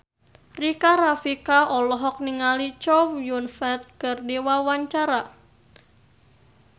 Rika Rafika olohok ningali Chow Yun Fat keur diwawancara